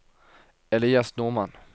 Elias Normann